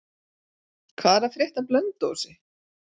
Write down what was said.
Hvað er að frétta af Blönduósi?